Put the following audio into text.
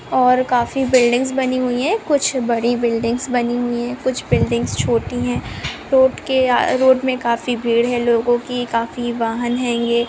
और काफी बिल्डिंग्स बनी हुई है कुछ बड़ी बिल्डिंग्स बनी हुई है कुछ बिल्डिंग्स छोटी है रोड के रोड में काफी भीड़ है लोगो की काफी वाहन है ये --